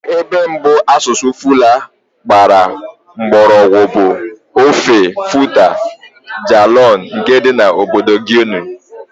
Ebe mbụ asụsụ Fula gbara mgbọrọgwụ bụ ofe Futa Djallon nke dị na obodo Guinea.